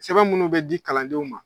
Sɛbɛn munnu bɛ di kalandenw ma